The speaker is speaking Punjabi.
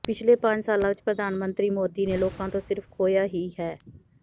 ਪਿਛਲੇ ਪੰਜ ਸਾਲਾਂ ਵਿਚ ਪ੍ਰਧਾਨ ਮੰਤਰੀ ਮੋਦੀ ਨੇ ਲੋਕਾਂ ਤੋਂ ਸਿਰਫ਼ ਖੋਹਿਆ ਹੀ ਹੈ